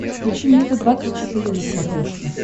включи мне т двадцать четыре на смотрешке